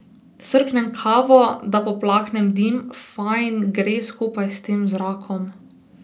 Srknem kavo, da poplaknem dim, fajn gre skupaj s tem zrakom.